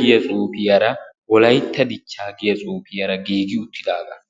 giya xuuphe xafetidi beettessi.